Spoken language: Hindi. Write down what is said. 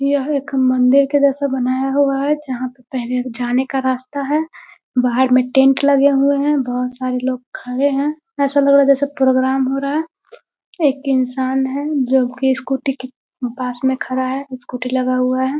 यह एक मंदिर के जैसा बनाया हुआ है जहाँ पे पहले जाने का रास्ता है। बाहर में टेंट लगे हुए हैं। बहुत सारे लोग खड़े हैं। ऐसा लग रहा है जैसा प्रोग्राम हो रहा है। एक इंसान है जो की स्कूटी के पास में खड़ा है। स्कूटी लगा हुआ है।